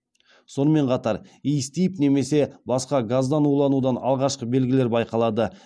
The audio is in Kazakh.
сонымен қатар иіс тиіп немесе басқа газдан уланудың алғашқы белгілері байқалады